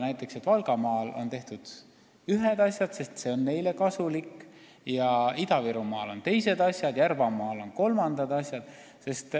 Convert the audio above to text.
Näiteks nii, et Valgamaal tehakse ühtesid asju, sest see on neile kasulik, Ida-Virumaal teisi asju ja Järvamaal kolmandaid asju.